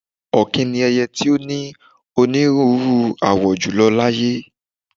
Ọ̀kín ni ẹyẹ tí ó ní onírúnrú àwọ jùlọ láyé.